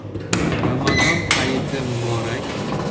Ramazon hayiti muborak!